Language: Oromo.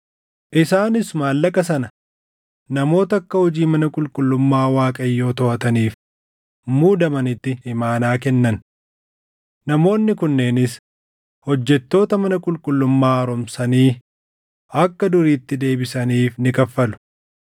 Isaanis maallaqa sana namoota akka hojii mana qulqullummaa Waaqayyoo toʼataniif muudamanitti imaanaa kennan. Namoonni kunneenis hojjettoota mana qulqullummaa haaromsanii akka duriitti deebisaniif ni kaffalu.